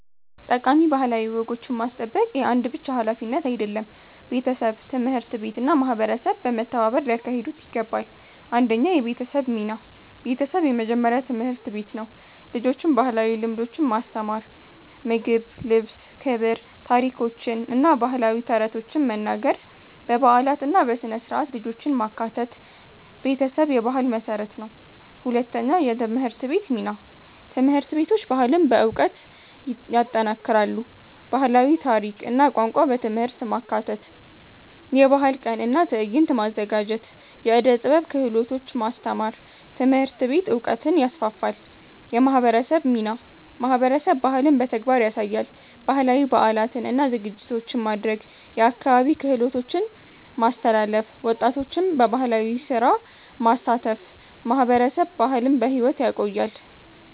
ጠቃሚ ባህላዊ ወጎችን ማስጠበቅ የአንድ ብቻ ሀላፊነት አይደለም፤ ቤተሰብ፣ ትምህርት ቤት እና ማህበረሰብ በመተባበር ሊያካሂዱት ይገባል። 1 የቤተሰብ ሚና ቤተሰብ የመጀመሪያ ትምህርት ቤት ነው። ልጆችን ባህላዊ ልምዶች ማስተማር (ምግብ፣ ልብስ፣ ክብር) ታሪኮችን እና ባህላዊ ተረቶችን መናገር በበዓላት እና በሥነ-ሥርዓት ልጆችን ማካተት ቤተሰብ የባህል መሠረት ነው። 2የትምህርት ቤት ሚና ትምህርት ቤቶች ባህልን በዕውቀት ይጠናክራሉ። ባህላዊ ታሪክ እና ቋንቋ በትምህርት ማካተት የባህል ቀን እና ትዕይንት ማዘጋጀት የዕደ ጥበብ ክህሎቶች ማስተማር ትምህርት ቤት ዕውቀትን ይስፋፋል። የማህበረሰብ ሚናማህበረሰብ ባህልን በተግባር ያሳያል። ባህላዊ በዓላትን እና ዝግጅቶችን ማድረግ የአካባቢ ክህሎቶችን ማስተላለፍ ወጣቶችን በባህላዊ ስራ ማሳተፍ ማህበረሰብ ባህልን በሕይወት ያቆያል።